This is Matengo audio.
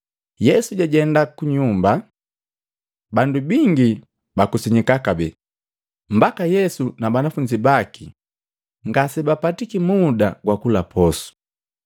Yesu jajenda kunyumba. Bandu bingi bakusanyika kabee, mbaka Yesu na banafunzi baki ngasebapatiki muda gwakula posu.